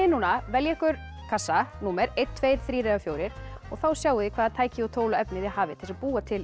núna velja ykkur kassa númer eitt tveggja þrjár eða fjórar og þá sjáið þið hvaða tæki og tól og efni þið hafið til að búa til